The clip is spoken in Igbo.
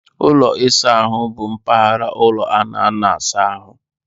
Ụlọ ịsa ahụ bụ mpaghara ụlọ a na-anọ asa ahụ.